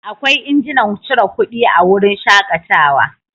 Akwai injinan cire kuɗi a wurin shakatawa.